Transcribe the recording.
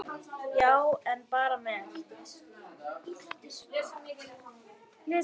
Já, en bara með mér.